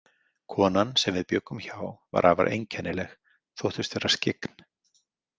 Konan sem við bjuggum hjá var afar einkennileg, þóttist vera skyggn.